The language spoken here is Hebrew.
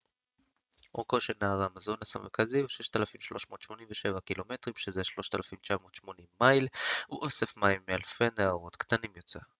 "אורכו של נהר האמזונס המרכזי הוא 6,387 ק""מ 3,980 מייל. הוא אוסף מים מאלפי נהרות קטנים יותר.